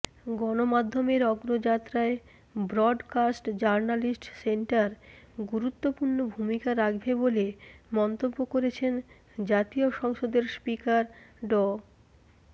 গণমাধ্যমের অগ্রযাত্রায় broadcast journalist centre গুরুত্বপূর্ণ ভূমিকা রাখবে বলে মন্তব্য করেছেন জাতীয় সংসদের স্পিকার ড